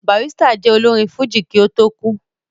Barrister jẹ́ olórin fújì kí ó tó kú